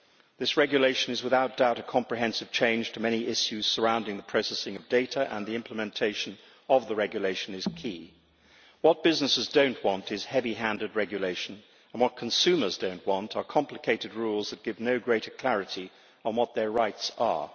This regulation is without doubt a comprehensive change to many issues surrounding the processing of data, and the implementation of the regulation is key. What businesses do not want is heavy handed regulation, and what consumers do not want are complicated rules that give no greater clarity on what their rights are.